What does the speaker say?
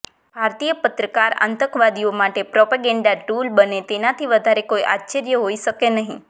ભારતીય પત્રકાર આતંકવાદીઓ માટે પ્રોપેગેન્ડા ટુલ બને તેનાથી વધારે કોઈ આશ્ચર્ય હોઈ શકે નહીં